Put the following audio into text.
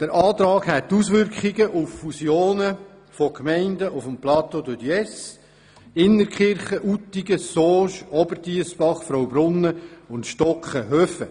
Der Antrag hätte Auswirkungen auf Fusionen von Gemeinden auf dem Plateau de Diesse sowie der Gemeinden Innertkirchen, Uttigen, Sauge, Oberdiessbach, Fraubrunnen und Stocken-Höfen.